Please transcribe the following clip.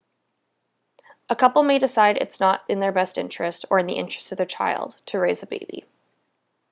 a couple may decide it is not in their best interest or in the interest of their child to raise a baby